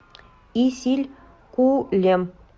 исилькулем